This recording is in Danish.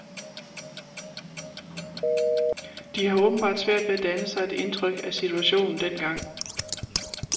De har åbenbart svært ved at danne sig et indtryk af situationen dengang.